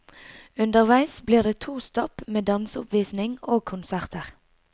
Underveis blir det to stopp med danseoppvisning og konserter.